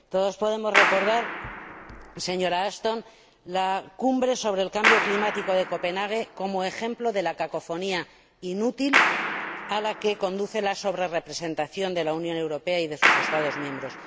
Todos podemos recordar, señora Ashton, la Cumbre sobre el cambio climático de Copenhague como ejemplo de la cacofonía inútil a la que conduce la sobrerrepresentación de la Unión Europea y de sus Estados miembros.